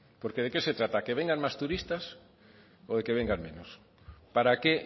porque de qué se trata que vengan más turistas o de que vengan menos para qué